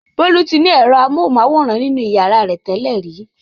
Bolu ti ní èrọ amóhùmáwòhán nínú ìyàrá rẹ̀ tẹ́lẹ̀ rí.